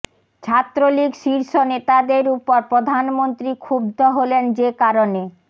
ছাত্রলীগ শীর্ষ নেতাদের উপর প্রধানমন্ত্রী ক্ষুব্ধ হলেন যে কারণে